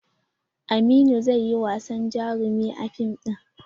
Aminu zai yi wasan jarumi a fim ɗin.